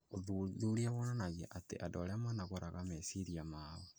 Ũthuthuria wonanagia atĩ andũ arĩa manogoraga meciria mao